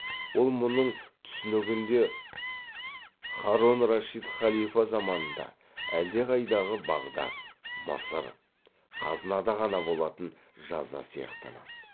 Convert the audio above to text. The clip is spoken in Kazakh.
ол мұның түсінігінде һарон рашит халифа заманында әлдеқайдағы бағдат мысыр ғазнада ғана болатын жаза сияқтанады